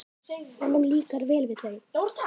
Honum líkar vel við þau.